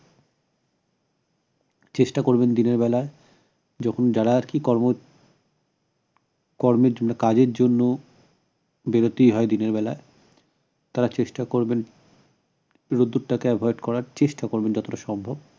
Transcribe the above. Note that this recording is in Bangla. চেষ্টা করবেন দিনের বেলা যখন যারা আরকি কর্ম কর্মের জন্য কাজের জন্য বেরুতেই হয় দিনের বেলা তারা চেষ্টা করবেন রোদ্দুরটাকে avoid করার চেষ্টা করবেন যতটা সম্ভব